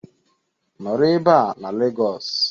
Nọrọ ebe a na Lagos